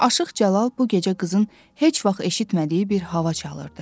Aşıq Cəlal bu gecə qızın heç vaxt eşitmədiyi bir hava çalırdı.